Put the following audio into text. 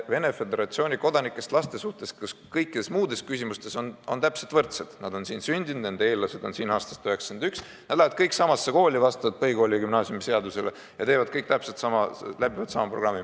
Venemaa Föderatsiooni kodanike lapsed on kõige muu poolest teistega võrdsed: nad on siin sündinud, nende esivanemad elasid siin ka aastal 1991, nad lähevad kõik vastavalt põhikooli- ja gümnaasiumiseadusele samasugusesse kooli ja teevad kõik täpselt sedasama, läbivad sama programmi.